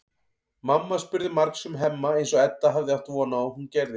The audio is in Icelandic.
Mamma spurði margs um Hemma eins og Edda hafði átt von á að hún gerði.